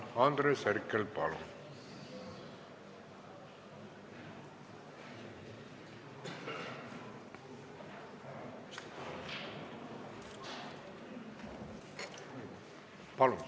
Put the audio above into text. Andres Herkel, palun!